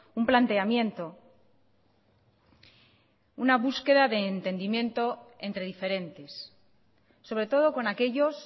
un planteamiento una búsqueda de entendimiento entre diferentes sobre todo con aquellos